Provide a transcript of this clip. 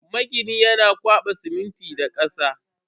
Maginin yana kwaba siminti da kasa.